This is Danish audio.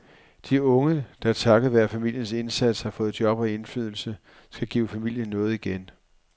De unge, der takket være familiens indsats har fået job og indflydelse, skal give familien noget igen.